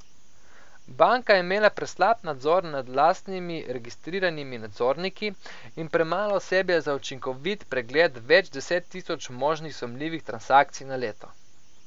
Banka je imela preslab nadzor nad lastnimi registriranimi nadzorniki in premalo osebja za učinkovit pregled več deset tisoč možnih sumljivih transakcij na leto.